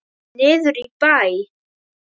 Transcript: Niður í bæ?